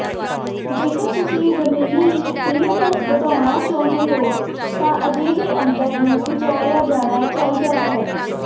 ਜੇਕਰ ਤੁਸੀਂ ਜ਼ਮੀਨੀ ਕਲੀਅਰੈਂਸ ਵਧਾਉਣਾ ਚਾਹੁੰਦੇ ਹੋ ਤਾਂ ਅਜਿਹੇ ਅੰਤਰ ਨੂੰ ਵਿਚਾਰਿਆ ਜਾਣਾ ਚਾਹੀਦਾ ਹੈ